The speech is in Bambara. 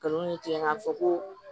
Kalon ni tigɛ k'a fɔ ko